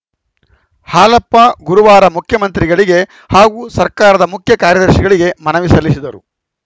ಹಾಲಪ್ಪ ಗುರುವಾರ ಮುಖ್ಯಮಂತ್ರಿಗಳಿಗೆ ಹಾಗೂ ಸರ್ಕಾರದ ಮುಖ್ಯ ಕಾರ್ಯದರ್ಶಿಗಳಿಗೆ ಮನವಿ ಸಲ್ಲಿಸಿದರು